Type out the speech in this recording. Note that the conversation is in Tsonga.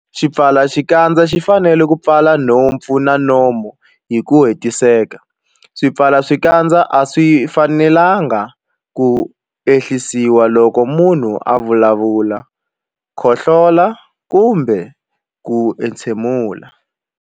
Xipfalaxikandza xi fanele ku pfala nhompfu na nomo hi ku hetiseka. Swipfalaxikandza a swi fanelanga ku ehlisiwa loko munhu a vulavula, khohlola kumbe ku entshemula.